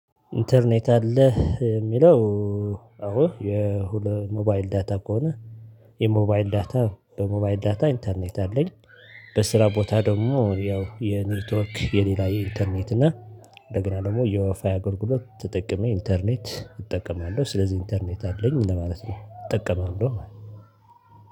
ኢንተርኔት አለህ? የሚለው አዎ የሁለ ሞባይል ዳታ ከሆነ የሞባይል ዳታ በሞባይል ዳታ ኢንተርኔት አለኝ። በስራ ቦታ ደግሞ ያው የኔትወርክ የሌላ የኢንተርኔት እና እንደገና ደግሞ የዋይፋይ አገልግሎት ተጠቅሜ ኢንተርኔት እጠቀማለሁ። ስለዚህ ኢንተርኔት አለኝ ለማለት ነው። እጠቀማለሁ ማለት ነው